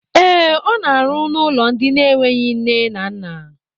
Ee, ọ na arụ n'ụlọ ndị enweghị nne na nna